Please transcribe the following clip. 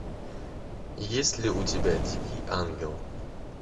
есть ли у тебя дикий ангел